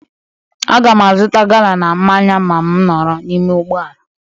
Aga m azụta gala na mmanya ma m nọrọ n'ime ụgbọ ala.